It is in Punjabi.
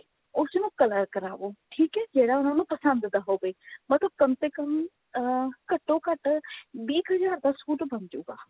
ਉਸਨੂੰ color ਕਰਾਵੋ ਠੀਕ ਹੈ ਜਿਹੜਾ ਉਹਨਾਂ ਨੂੰ ਪਸੰਦ ਦਾ ਹੋਵੇ but ਉਹ ਕਮ ਸੇ ਕਮ ਅਹ ਘੱਟੋ ਘੱਟ ਵੀਹ ਕ ਹਜ਼ਾਰ ਦਾ suit ਬੰਨ ਜੁਗਾ